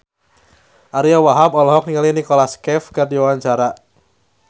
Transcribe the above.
Ariyo Wahab olohok ningali Nicholas Cafe keur diwawancara